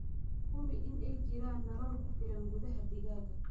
Hubi in ay jiraan nalal ku filan gudaha digaaga.